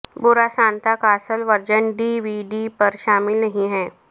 برا سانتا کا اصل ورژن ڈی وی ڈی پر شامل نہیں ہے